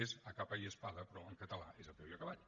és a capa y a espada però en català és a peu i a cavall